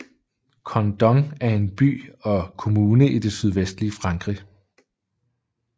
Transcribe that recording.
Condom er en by og kommune i det sydvestlige Frankrig